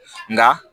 Nka